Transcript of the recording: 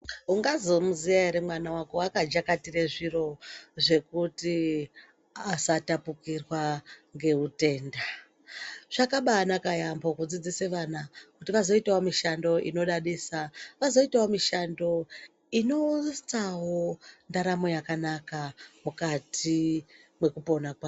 Ungazomiziya ere mwana wako akajakatire zviro zvekuti asatapukirwa ngeutenda. Zvakabanaka yaambo kudzidzisa vana kuti vazoitawo mishando inodadisa, vazoitawo mishando inounzawo ndaramo yakanaka mukati mwekupona kwavo.